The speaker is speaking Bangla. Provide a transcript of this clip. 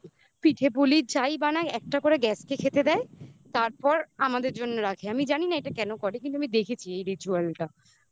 পিঠে পুলি যাই বানাই একটা করে গ্যাসকে খেতে দেয় তারপর আমাদের জন্য রাখে আমি জানি না এটা কেন করে কিন্তু আমি দেখেছি এই ritual টা